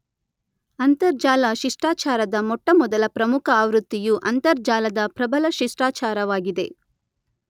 ಅಂತರ್ಜಾಲ ಶಿಷ್ಟಾಚಾರದ ಮೊಟ್ಟಮೊದಲ ಪ್ರಮುಖ ಆವೃತ್ತಿಯು ಅಂತರ್ಜಾಲದ ಪ್ರಬಲ ಶಿಷ್ಟಾಚಾರವಾಗಿದೆ.